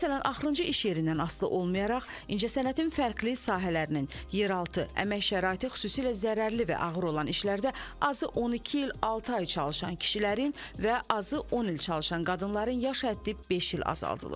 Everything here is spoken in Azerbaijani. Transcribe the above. Məsələn, axırıncı iş yerindən asılı olmayaraq, incəsənətin fərqli sahələrinin, yeraltı, əmək şəraiti xüsusilə zərərli və ağır olan işlərdə azı 12 il altı ay çalışan kişilərin və azı 10 il çalışan qadınların yaş həddi beş il azaldılır.